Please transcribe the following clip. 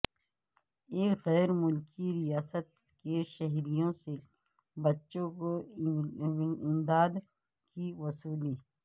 ایک غیر ملکی ریاست کے شہریوں سے بچوں کی امداد کی وصولی